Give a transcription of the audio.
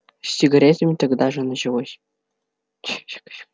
с сигаретами тогда же началось